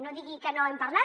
no digui que no n’hem parlat